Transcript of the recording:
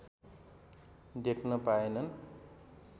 देख्न पाएनन्